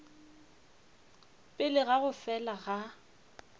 pele ga go fela ga